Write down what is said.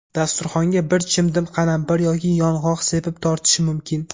Dasturxonga bir chimdim qalampir yoki yong‘oq sepib tortish mumkin.